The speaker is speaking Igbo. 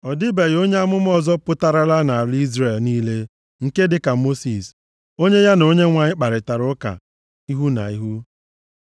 Ọ dịbeghị onye amụma ọzọ pụtarala nʼala Izrel niile, nke dịka Mosis, + 34:10 \+xt Dit 18:15,18\+xt* onye ya na Onyenwe anyị kparịtara ụka ihu na ihu, + 34:10 \+xt Ọpụ 33:11; Ọnụ 12:8; Dit 5:4\+xt*